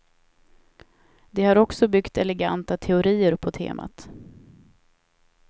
De har också byggt eleganta teorier på temat.